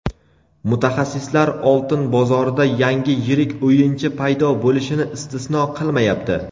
Mutaxassislar oltin bozorida yangi yirik o‘yinchi paydo bo‘lishini istisno qilmayapti.